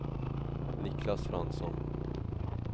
Niklas Fransson